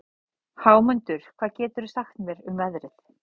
Hámundur, hvað geturðu sagt mér um veðrið?